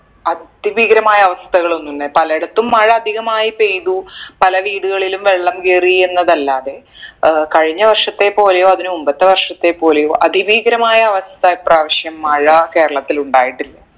അതിഭീകരമായ അവസ്ഥകളൊന്നുല്ല പലയിടത്തും മഴ അധികമായി പെയ്തു പല വീടുകളിലും വെള്ളം കയറി എന്നതല്ലാതെ ഏർ കഴിഞ്ഞ വർഷത്തെ പോലെയോ അതിന് മുമ്പത്തെ വർഷത്തെ പോലെയോ അതിഭീകരമായ അവസ്ഥ ഈ പ്രാവശ്യം മഴ കേരളത്തിൽ ഉണ്ടായിട്ടില്ല